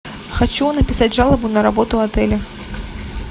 хочу написать жалобу на работу отеля